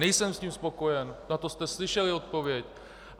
Nejsem s tím spokojen, na to jste slyšeli odpověď.